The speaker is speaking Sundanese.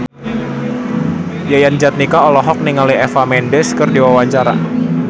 Yayan Jatnika olohok ningali Eva Mendes keur diwawancara